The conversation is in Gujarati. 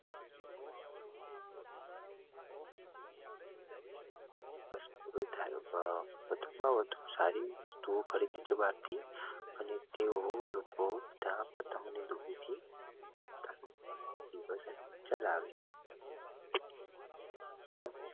વધુ માં વધુ સારી બહાર થી અને તેઓ લોકો ચલાવે છે